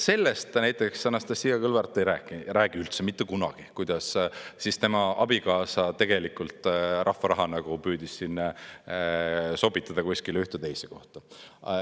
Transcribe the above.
Sellest näiteks Anastassia Kõlvart ei räägi üldse, mitte kunagi, kuidas tema abikaasa tegelikult rahva raha püüdis sobitada kuskile ühte või teise kohta.